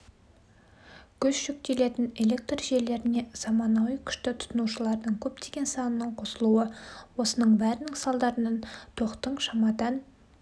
күш жүктелетін электр желілеріне заманауи күшті тұтынушылардың көптеген санының қосылуы осының бәрінің салдарынан тоқтың шамадан